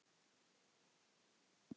Þín, Edda Júlía.